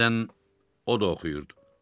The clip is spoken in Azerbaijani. Bəzən o da oxuyurdu.